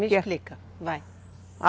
Me explica, vai.